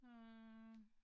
Øh